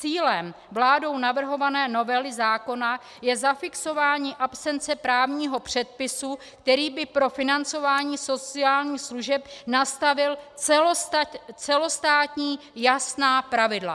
Cílem vládou navrhované novely zákony je zafixování absence právního předpisu, který by pro financování sociálních služeb nastavil celostátní jasná pravidla.